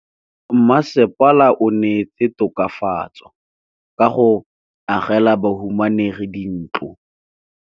Mmasepala o neetse tokafatsô ka go agela bahumanegi dintlo.